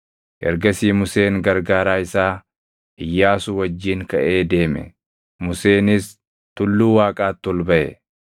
Ergasii Museen gargaaraa isaa Iyyaasuu wajjin kaʼee deeme; Museenis tulluu Waaqaatti ol baʼe.